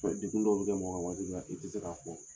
degun dɔw bɛ kɛ mɔgɔ kan waati dɔ la i tɛ se k'a fɔ.